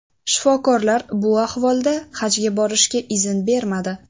Shifokorlar bu ahvolda hajga borishga izn bermadi.